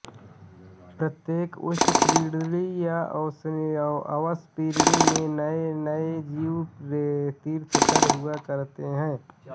प्रत्येक उत्सिर्पिणी या अवसर्पिणी में नए नए जीव तीर्थंकर हुआ करते हैं